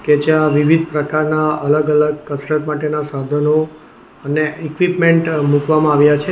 કે જ્યાં વિવિધ પ્રકારના અલગ અલગ કસરત માટેના સાધનો અને ઇક્વિપમેન્ટ મૂકવામાં આવ્યા છે.